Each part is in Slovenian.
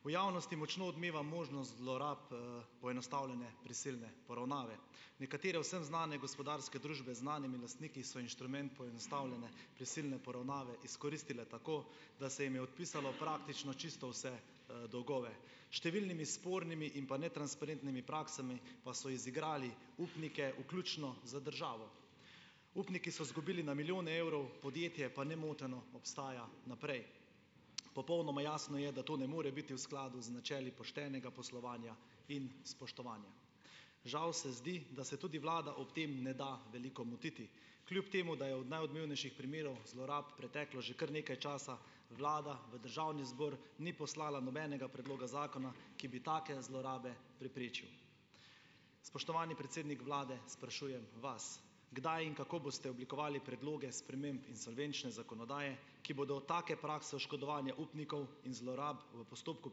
V javnosti močno odmeva možnost zlorab, poenostavljene prisilne poravnave. Nekatere vsem znane gospodarske družbe z znanimi lastniki so inštrument poenostavljene prisilne poravnave izkoristile tako, da se jim je odpisalo praktično čisto vse, dolgove. Številnimi spornimi in pa netransparentnimi praksami pa so izigrali upnike, vključno z državo. Upniki so zgubili na milijone evrov, podjetje pa nemoteno obstaja naprej. Popolnoma jasno je, da to ne more biti v skladu z načeli poštenega poslovanja in spoštovanja. Žal se zdi, da se tudi vlada ob tem ne da veliko motiti, kljub temu da je od najodmevnejših primerov zlorab preteklo že kar nekaj časa, vlada v državni zbor ni poslala nobenega predloga zakona, ki bi take zlorabe preprečil. Spoštovani predsednik vlade, sprašujem vas: Kdaj in kako boste oblikovali predloge sprememb insolvenčne zakonodaje, ki bodo take prakse oškodovanja upnikov in zlorab v postopku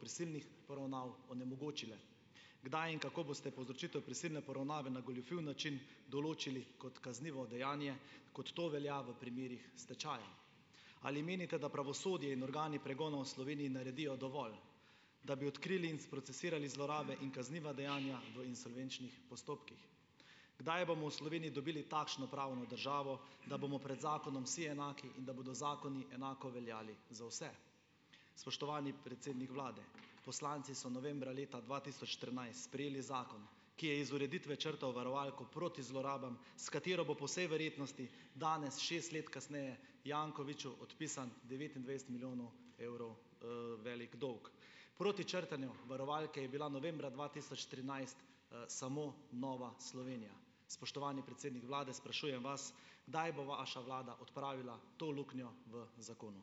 prisilnih poravnav onemogočile? Kdaj in kako boste povzročitev prisilne poravnave na goljufiv način določili kot kaznivo dejanje, kot to velja v primerih stečaja. Ali menite, da pravosodje in organi pregona v naredijo dovolj, da bi odkrili in sprocesirali zlorabe in kazniva dejanja v insolvenčnih postopkih? Kdaj bomo v dobili takšno pravno državo, da bomo pred zakonom vsi enaki in da bodo zakoni enako veljali za vse? Spoštovani predsednik vlade, poslanci so novembra leta dva tisoč štirinajst sprejeli zakon, ki je iz ureditve črtal varovalko proti zlorabam, s katero bo po vsej verjetnosti danes, šest let kasneje, Jankoviću odpisan devetindvajset milijonov evrov, velik dolg. Proti črtanju varovalke je bila novembra dva tisoč trinajst, samo Nova Slovenija. Spoštovani predsednik vlade, sprašujem vas, kdaj bo vaša vlada odpravila to luknjo v zakonu.